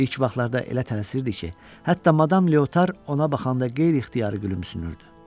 İlk vaxtlarda elə tələsirdi ki, hətta madam Leotar ona baxanda qeyri-ixtiyari gülümsünürdü.